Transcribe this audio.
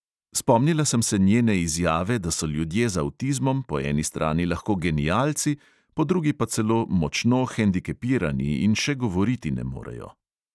Spomnila sem se njene izjave, da so ljudje z avtizmom po eni strani lahko genialci, po drugi pa celo močno hendikepirani in še govoriti ne morejo.